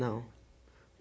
Não.